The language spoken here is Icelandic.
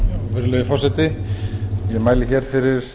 virðulegi forseti ég mæli hér fyrir